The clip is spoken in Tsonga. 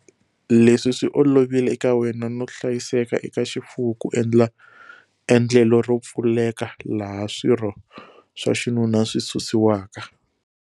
Leswi swi olovile eka wena no hlayiseka eka xifuwo ku endla endlelo ro pfuleka laha swirho swa xinuna swi susiwaka.